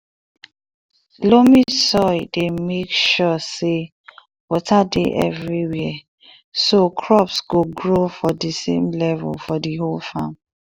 loamy soil dey make sure say water dey everywhere so crops go grow from the same level for the same farm